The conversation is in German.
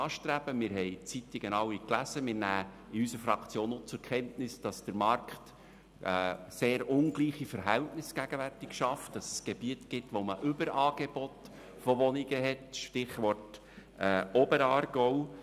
Wir alle haben die Zeitungen gelesen, und unsere Fraktion nimmt zur Kenntnis, dass der Markt gegenwärtig sehr ungleiche Verhältnisse schafft, dass es Gebiete mit einem Überangebot an Wohnungen gibt – Stichwort Oberaargau.